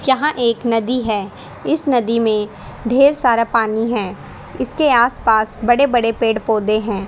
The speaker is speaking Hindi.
यहां एक नदी है इस नदी में ढेर सारा पानी है इसके आस पास बड़े बड़े पेड़ पौधे हैं।